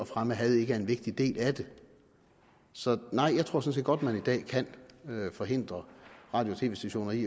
fremme had ikke er en vigtig del af det så jeg tror sådan set godt at man i dag kan forhindre radio og tv stationer i